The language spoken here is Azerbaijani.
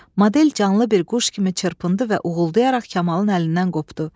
Model canlı bir quş kimi çırpındı və uğuldayaraq Kamalın əlindən qopdu.